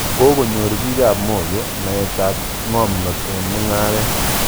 Kokonyor piik ap Moyo naet ak ng'omnot eng' mung'aret.